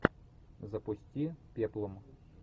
запусти пеплум